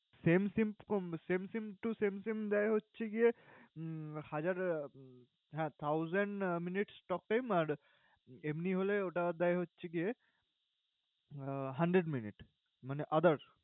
SIM, SIM um SIM, SIM to SIM, SIM দেয় হচ্ছে গিয়ে উম হাজার আহ হ্যাঁ thousand minutes talk time । আর, এমনি হলে ওটা দেয় হচ্ছে গিয়ে আহ hundred minutes মানে other ।